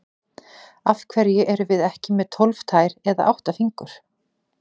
Af hverju erum við ekki með tólf tær eða átta fingur?